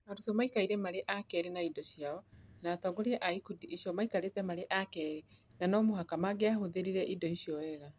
Arutwo maikarĩte marĩ a keerĩ na indo ciao, na atongoria a ikundi icio maikarĩte marĩ a keerĩ na no mũhaka mangĩahũthĩrire indo icio wega.